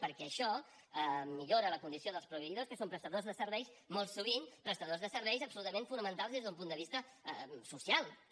perquè això millora la condició dels proveïdors que són prestadors de serveis molt sovint prestadors de serveis absolutament fonamentals des d’un punt de vista social també